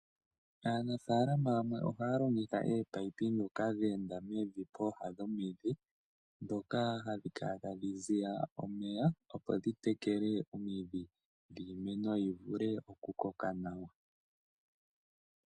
Aanafalama yamwe ohaya longitha oopaipi dhoka dheenda mevi kooha dhomwiidhi dhoka hadhi kala tadhi ziya omeya opo dhitekele iimeno yivule okukoka nawa.